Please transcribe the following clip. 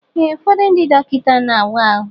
Ee ụfọdụ ndị dọkịta na awa ahụ.